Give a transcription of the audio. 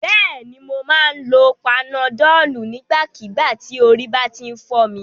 Bẹ́ẹ̀ni, mo máa ń lo panadọ́ọ̀lù nígbàkígbà tí orí bá ti ń fọ́ mi.